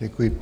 Děkuji.